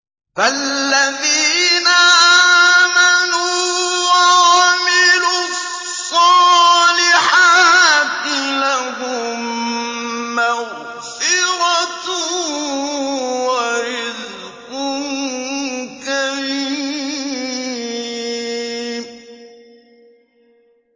فَالَّذِينَ آمَنُوا وَعَمِلُوا الصَّالِحَاتِ لَهُم مَّغْفِرَةٌ وَرِزْقٌ كَرِيمٌ